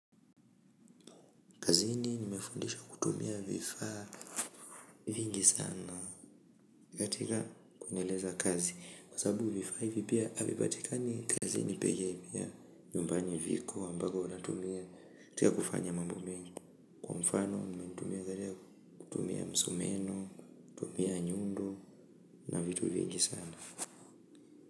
Kazini nimefundishwa kutumia vifaa vingi sana, katika kuendeleza kazi, kwa sababu vifaa hivi pia havipatikani kazini pekee, pia, nyumbani viko ambako wanatumia, katika kufanya mambo mengi, kwa mfano msumeno, kutumia nyundo na vitu vingi sana.